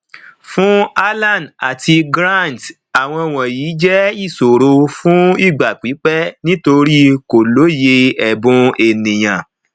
fún alan àti grant àwọn wọnyí jẹ ìṣòro fún ìgbà pípẹ nítorí kò lóye ẹbùn ènìyàn